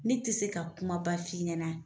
Ne te se ka kumaba f'i ɲɛna.